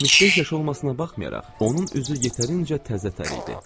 75 yaşı olmasına baxmayaraq, onun üzü yetərincə təzətər idi.